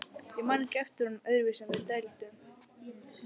Ég man ekki eftir honum öðruvísi en dælduðum.